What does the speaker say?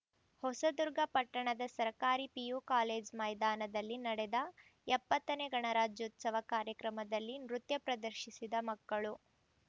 ಹೊಸದುರ್ಗ ಪಟ್ಟಣದ ಸರಕಾರಿ PU college ಮೈದಾನದಲ್ಲಿ ನಡೆದ ಎಪ್ಪತ್ತನೇ ಗಣರಾಜ್ಯೋತ್ಸವ ಕಾರ್ಯಕ್ರಮದಲ್ಲಿ ನೃತ್ಯ ಪ್ರದರ್ಶಿಸಿದ ಮಕ್ಕಳು